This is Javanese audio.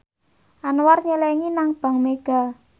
Anwar nyelengi nang bank mega